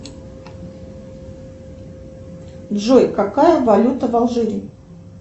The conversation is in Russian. джой какая валюта в алжире